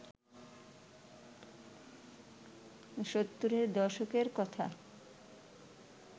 সত্তরের দশকের কথা